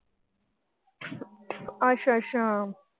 ਅੱਛਾ ਅੱਛਾ।